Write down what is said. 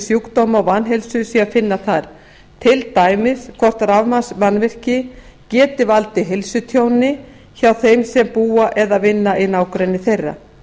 sjúkdóma og vanheilsu sé að finna þar til dæmis hvort rafmagnsmannvirki geti valdið heilsutjóni hjá þeim sem búa eða vinna í nágrenni þeirra